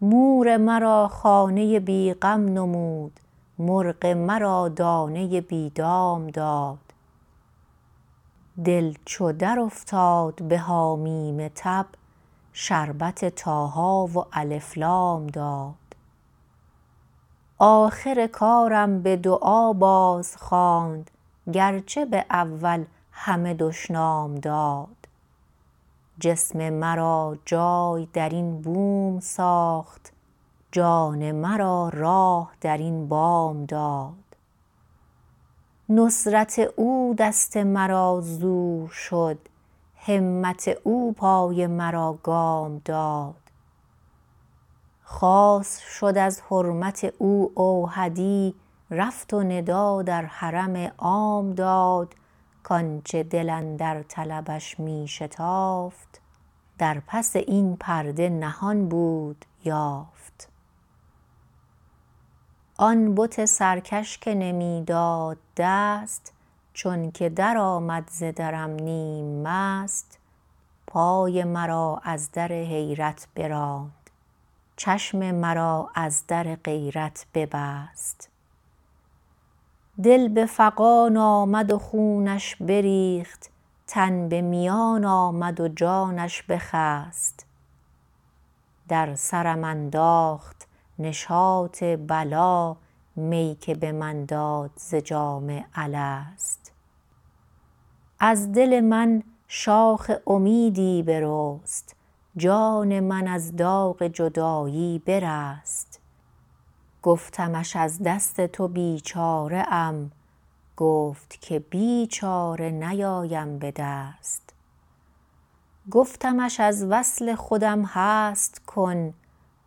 مور مرا خانه بی غم نمود مرغ مرا دانه بی دام داد دل چو درافتاد بحامیم تب شربت طاها و الف لام داد آخر کارم به دعا باز خواند گرچه به اول همه دشنام داد جسم مرا جای درین بوم ساخت جان مرا راه درین بام داد نصرة اودست مرا زور شد همت او پای مرا گام داد خاص شد از حرمت او اوحدی رفت و ندا در حرم عام داد کانچه دل اندر طلبش می شتافت در پس این پرده نهان بود یافت آن بت سرکش که نمیداد دست چونکه درآمد ز درم نیم مست پای مرا از در حیرت براند چشم مرا از در غیرت ببست دل به فغان آمد و خونش بریخت تن به میان آمد و جانش بخست در سرم انداخت نشاط بلی می که به من داد ز جام الست از دل من شاخ امیدی برست جان من از داغ جدایی برست گفتمش از دست تو بیچاره ام گفت که بی چاره نیایم به دست گفتمش از وصل خودم هست کن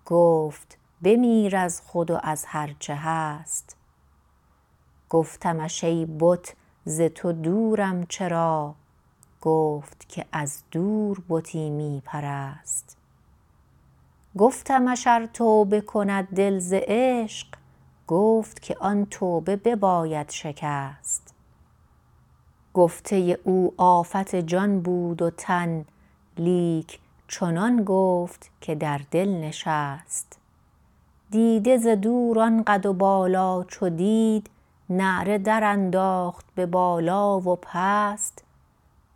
گفت بمیر از خود و از هرچه هست گفتمش ای بت ز تو دورم چرا گفت که از دور بتی می پرست گفتمش ار توبه کند دل ز عشق گفت که آن توبه به باید شکست گفته او آفت جان بود و تن لیک چنان گفت که در دل نشست دیده ز دور آن قد و بالا چو دید نعره در انداخت به بالا و پست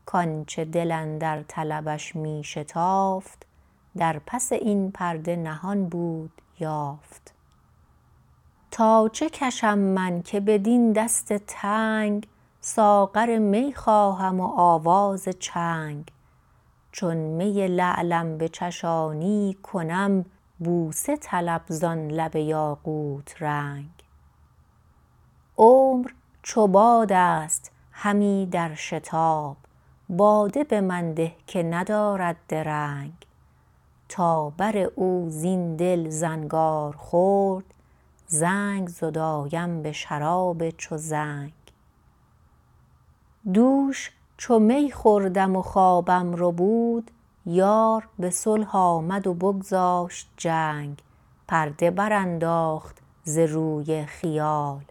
کانچه دل اندر طلبش می شتافت در پس این پرده نهان بود یافت تاچه کشم من که بدین دست تنگ ساغر می خواهم و آواز چنگ چون می لعلم بچشانی کنم بوسه طلب زان لب یاقوت رنگ عمر چو بادست همی در شباب باده بمن ده که ندارد درنگ تا بر او زین دل زنگار خورد رنگ زدایم به شراب چو زنگ دوش چو می خوردم و خوابم ربود یار به صلح آمد و بگذاشت جنگ پرده برانداخت ز روی خیال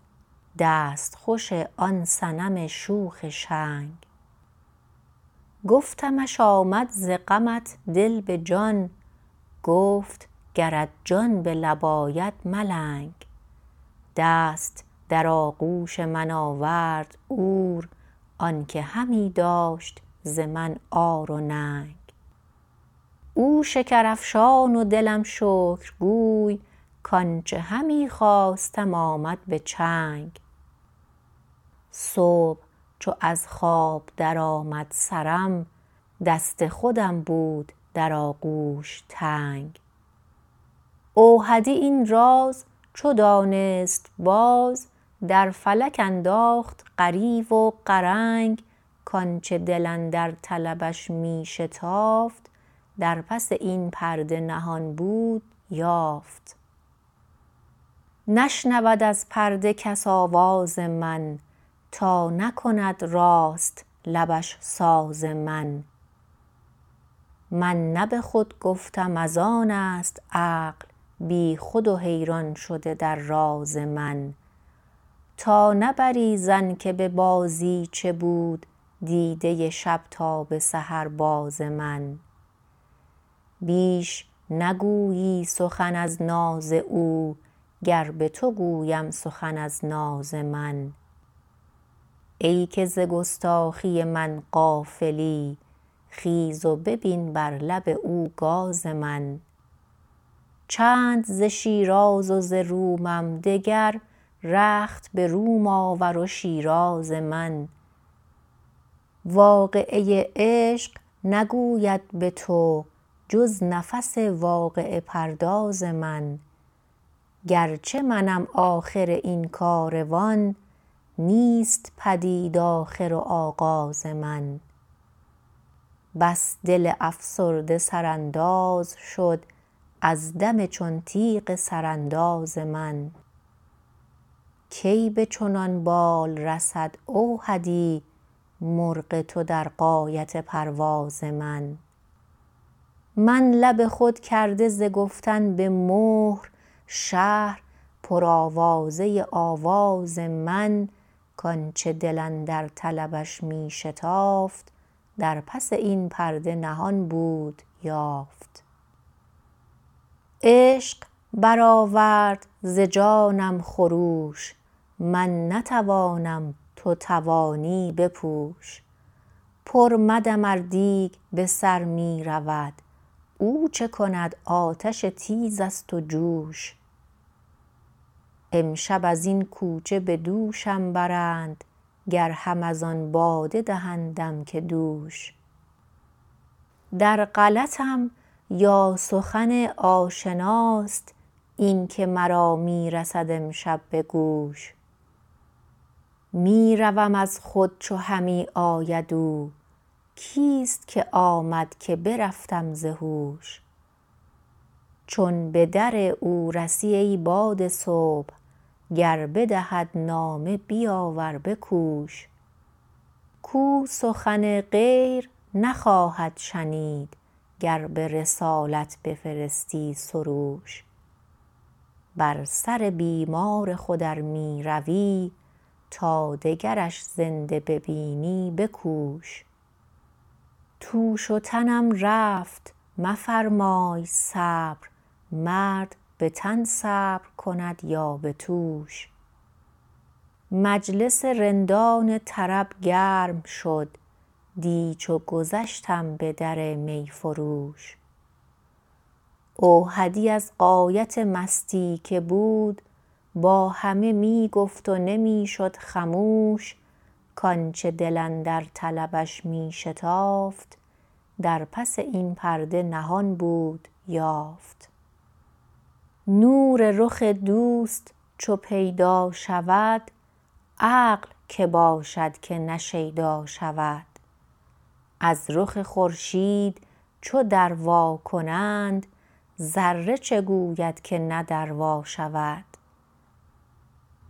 دست خوش آن صنم شوخ شنگ گفتمش آمد ز غمت دل به جان گفت گرت جان به لب آید ملنگ دست در آغوش من آورد عور آنکه همی داشت ز من عار و ننگ او شکر افشان ودلم شکر گوی کانچه همی خواستم آمد به چنگ صبح چو از خواب درآمد سرم دست خودم بود در آغوش تنگ اوحدی این راز چو دانست باز در فلک انداخت غریو و غرنگ کانچه دل اندر طلبش می شتافت در پس این پرده نهان بود یافت نشنود از پرده کس آواز من تا نکند راست لبش ساز من من نه به خود گفتم از آنست عقل بیخود و حیران شده در راز من تا نبری ظن که به بازیچه بود دیده شب تا به سحر باز من بیش نگویی سخن از ناز او گر بتو گویم سخن از ناز من ای که ز گستاخی من غافلی خیز و ببین بر لب او گاز من چند ز شیراز و ز رومم دگر رخت به روم آور و شیراز من واقعه عشق نگوید به تو جز نفس واقعه پرداز من گر چه منم آخر این کاروان نیست پدید آخر و آغاز من بس دل افسرده سر انداز شد از دم چون تیغ سر انداز من کی به چنان بال رسد اوحدی مرغ تو در غایت پرواز من من لب خود کرده ز گفتن به مهر شهر پر آوازه آواز من کانچه دل اندر طلبش می شتافت در پس این پرده نهان بود یافت عشق برآورد ز جانم خروش من نتوانم تو توانی بپوش پر مدم ار دیگ بسر میرود او چه کند آتش تیزست و جوش امشب ازین کوچه بدوشم برند گر هم از آن باده دهندم که دوش در غلطم یا سخن آشناست اینکه مرا میرسد امشب بگوش میروم از خود چو همی آید او کیست که آمد که برفتم ز هوش چون بدر او رسی ای باد صبح گر بدهد نامه بیاور بکوش کو سخن غیر نخواهد شنید گر برسالت بفرستی سروش بر سر بیمار خود ار میروی تا دگرش زنده ببینی بکوش توش و تنم رفت مفرمای صبر مرد به تن صبر کند یا به توش مجلس رندان طرب گرم شد دی چو گذشتم بدر می فروش اوحدی از غایت مستی که بود با همه می گفت و نمی شد خموش کانچه دل اندر طلبش می شتافت در پس این پرده نهان بود یافت نور رخ دوست چو پیدا شود عقل که باشد که نه شیدا شود از رخ خورشید چو در وا کنند ذره چه گوید که نه در وا شود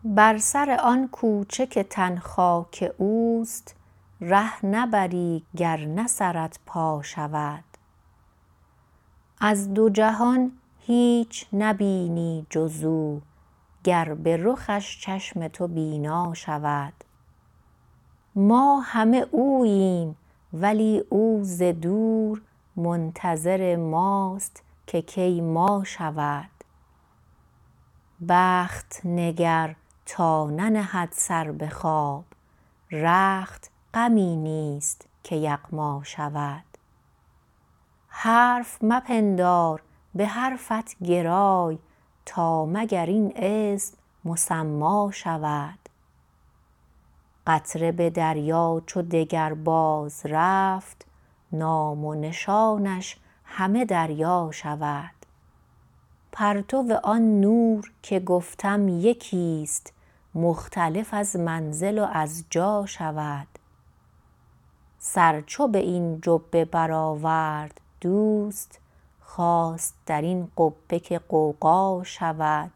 بر سر آن کوچه که تن خاک اوست ره نبری گر نه سرت پا شود از دو جهان هیچ نبینی جزو گر به رخش چشم تو بینا شود ما همه اوییم ولی او ز دور منتظر ماست که کی ما شود بخت نگر تا ننهد سر به خواب رخت غمی نیست که یغما شود حرف مپندار به حرفت گرای تا مگر این اسم مسما شود قطره به دریا چو دگر باز رفت نام و نشانش همه دریا شود پرتو آن نور که گفتم یکیست مختلف از منزل و از جا شود سر چو به این جبه برآورد دوست خواست درین قبه که غوغا شود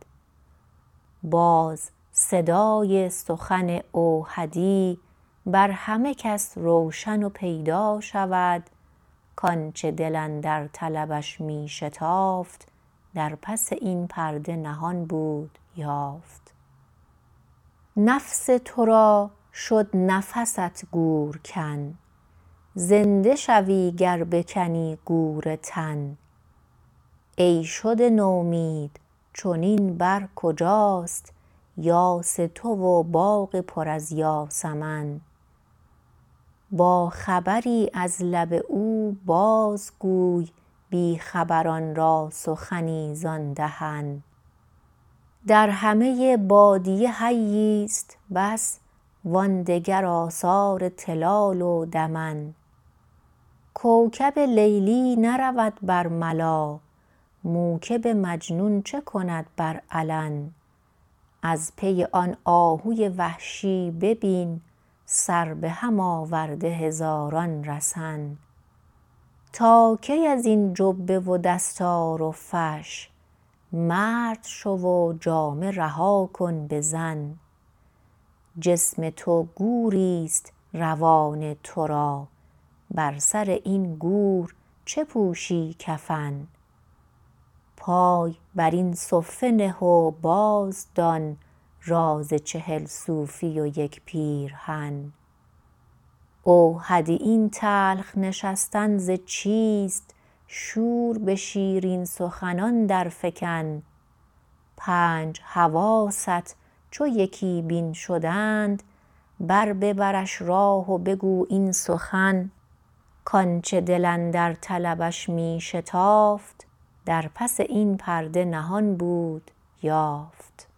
باز صدای سخن اوحدی بر همه کس روشن و پیدا شود کانچه دل اندر طلبش می شتافت در پس این پرده نهان بود یافت نفس ترا شد نفس گور کن زنده شوی گر بکنی گور تن ای شده نومید چنین بر کجاست یاس تو و باغ پر از یاسمن یا خبری از لب او باز گوی بی خبران را سخنی زان دهن در همه بادیه حییست بس و آن دگر آثار طلال و دمن کوکب لیلی نرود بر ملا موکب مجنون چه کند بر علن از پی آن آهوی وحشی ببین سر به هم آورده هزاران رسن تا کی ازین جبه و دستار و فش مرده شو و جامه رها کن بزن جسم تو گوریست روان ترا بر سر این گور چه پوشی کفن پای برین صفه نه و باز دان راز چهل صوفی و یک پیرهن اوحدی این تلخ نشستن ز چیست شور به شیرین سخنان در فگن پنج حواست چو یکی بین شدند بر ببرش راه و بگو این سخن کانچه دل اندر طلبش می شتافت در پس این پرده نهان بود یافت